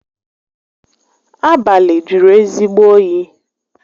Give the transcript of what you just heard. Abalị jụrụ ezigbo oyi